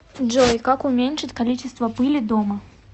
джой как уменьшить количество пыли дома